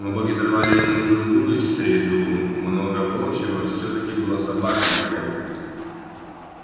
но боги даровали ему другую среду много волчьего всё-таки была собака а не волк